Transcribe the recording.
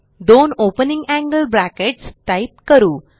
दोन opening angle brackets type करू